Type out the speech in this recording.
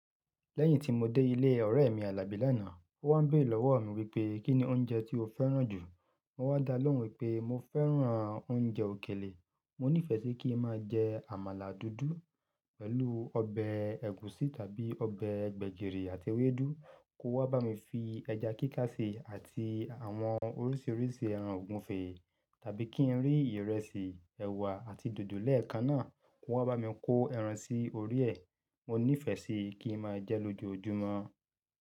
Lẹ́yìn tí mo dé ilé ọ̀rẹ́ mi Àlàbí lánàá, ó wá n béèrè lọ́wọ́ mi wípé, "Kí ni oúnjẹ tí o fẹ́ràn jù?" Mo wá dá lóhùn wípé mo fẹ́ràn oúnjẹ òkèlè. Mo nífẹ̀ẹ́ sí kí ń máa jẹ àmàlà dúdú pẹ̀lú ọbẹ̀ ẹ̀gúsí tàbí ọbẹ̀ gbẹ̀gìrì àti ewédú, kó wá bá mi fi ẹja kíká sí i àti àwọn oríṣiríṣi ẹran ògúnfe, tàbí kí n rí ìrẹsì, ẹ̀wà àti dòdò lẹ́ẹ̀kan náà kó wá bá mi kó ẹran sí orí ẹ. Mo nífẹ̀ẹ́ sí kí ń máa jẹ lójoójúmọ́.